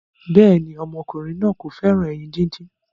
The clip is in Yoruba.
béèni ọmọkùnrin náa kò féràn ẹyin dín dín.